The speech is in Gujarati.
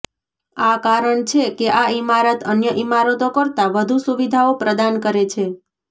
આ કારણ છે કે આ ઇમારત અન્ય ઇમારતો કરતા વધુ સુવિધાઓ પ્રદાન કરે છે